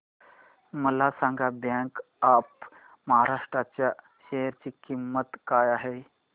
मला सांगा bank of Maharashtra च्या शेअर ची किंमत काय आहे